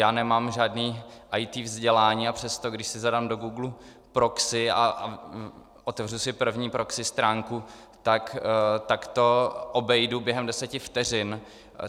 Já nemám žádné IT vzdělání, a přesto když si zadám do Googlu proxy a otevřu si první proxy stránku, tak to obejdu během deseti vteřin.